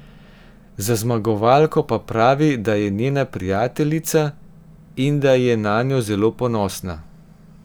Za zmagovalko pa pravi, da je njena prijateljica, in da je nanjo zelo ponosna.